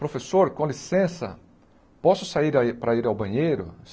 Professor, com licença, posso sair a ir para ir ao banheiro?